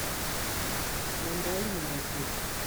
мандарины найти